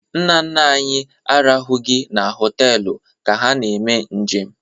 Nna nna anyị arahụghị na họtelụ ka ha na-eme njem.